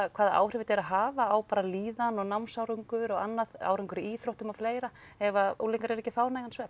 hvaða áhrif þetta er að hafa á bara líðan og námsárangur og annað árangur í íþróttum og fleira ef að unglingar eru ekki að fá nægan svefn